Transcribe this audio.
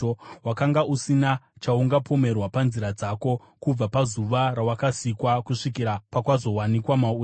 Wakanga usina chaungapomerwa panzira dzako, kubva pazuva rawakasikwa kusvikira kuipa pakwazowanikwa mauri.